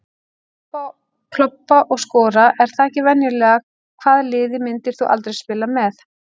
Klobba og skora, er það ekki venjulega Hvaða liði myndir þú aldrei spila með?